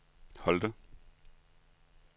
Holte